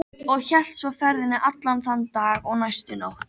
Og hélt svo ferðinni allan þann dag og næstu nótt.